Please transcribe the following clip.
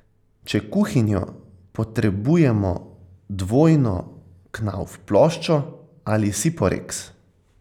Če kuhinjo, potrebujemo dvojno knauf ploščo ali siporeks.